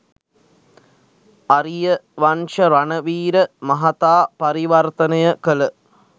අරියවංශ රණවීර මහතා පරිවර්තනය කල